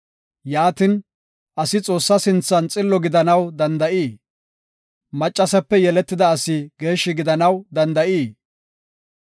Yaatin, asi Xoossaa sinthan xillo gidanaw danda7ii? Maccasape yeletida asi geeshshi gidanaw danda7ii?